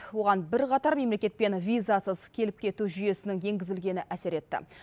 оған бірқатар мемлекетпен визасыз келіп кету жүйесінің енгізілгені әсер етті